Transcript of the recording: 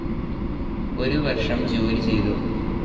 ഒരു വർഷം ജോലി ചെയ്തു.